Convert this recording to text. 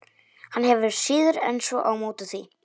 Hann hefur síður en svo á móti því.